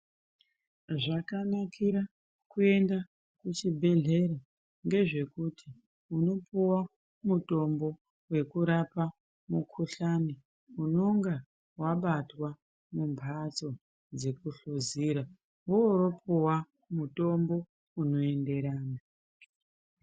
Zvakanakira kuyenda kuchibhedhlera, ngezvekuti, unopuwa mutombo wekurapa mukhuhlane, unonga wabatwa mumbatso dzekuhluzira. Wopuwa mutombo unoyenderana.